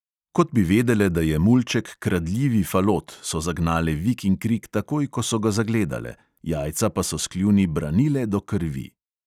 Kot bi vedele, da je mulček kradljivi falot, so zagnale vik in krik takoj, ko so ga zagledale, jajca pa so s kljuni branile do krvi.